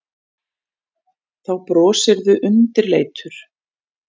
Þá brosirðu undirleitur.